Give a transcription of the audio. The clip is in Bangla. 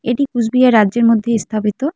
এটি কুচবিহার রাজ্যের মধ্যে স্থাপিত।